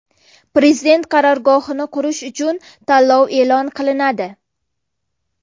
Prezident qarorgohini qurish uchun tanlov e’lon qilinadi.